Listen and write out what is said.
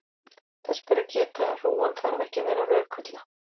þess ber að geta að hrúgan þarf ekki að vera rökvilla